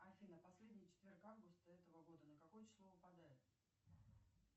афина последний четверг августа этого года на какое число выпадает